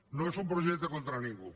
no és un projecte contra ningú